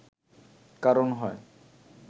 কারণ হয়